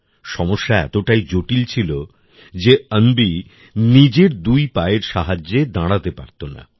সমস্যা এতটাই জটিল ছিল যে অন্বি নিজের দুই পায়ের সাহায্যে দাঁড়াতে পারতো না